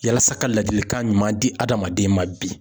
Yalasa ka ladilikan ɲuman di adamaden ma bi